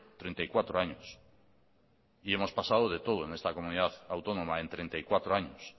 treinta y cuatro años y hemos pasado de todo en esta comunidad autónoma en treinta y cuatro años